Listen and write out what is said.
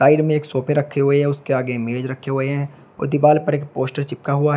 Side में एक सोफे रखे हुए हैं उसके आगे मेज रखे हुए हैं और दीवाल पर एक पोस्टर चिपका हुआ है।